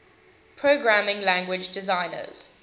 programming language designers